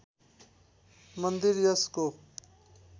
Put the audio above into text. मन्दिर यसको